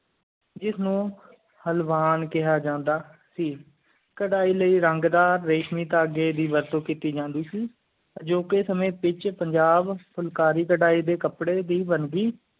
ਜਿਸ ਨੂੰ ਹਾਲਵਾਂ ਕਿਹਾ ਜਾਂਦਾ ਸੀ ਕਰਹਿ ਲਈ ਰੰਗ ਦਾ ਰੇਸ਼ਮੀ ਢੰਗ ਦੀ ਵਰਤ ਕੀਤੀ ਜਾਂਦੀ ਸੀ ਜੁ ਕ ਸਾਮੀ ਵਿਚ ਪੰਜਾਬ ਫੁਲਕਾਰੀ ਕਰੈ ਡੇ ਕਾਪੜੀ ਦੀ ਵੰਡੀ